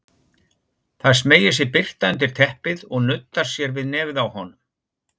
Það smeygir sér birta undir teppið og nuddar sér við nefið á honum.